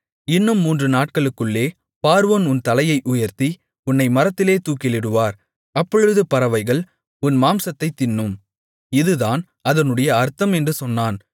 இன்னும் மூன்று நாட்களுக்குள்ளே பார்வோன் உன் தலையை உயர்த்தி உன்னை மரத்திலே தூக்கிலிடுவார் அப்பொழுது பறவைகள் உன் மாம்சத்தைத் தின்னும் இதுதான் அதனுடைய அர்த்தம் என்று சொன்னான்